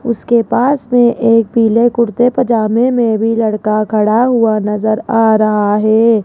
उसके पास में एक पीले कुर्ते पजामे में भी लड़का खड़ा हुआ नजर आ रहा है।